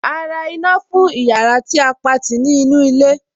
A ra iná fún ìyára tí a Pati ní inú ilé.